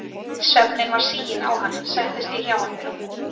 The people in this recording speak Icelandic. svefninn var siginn á hann settist ég hjá honum á rúmið.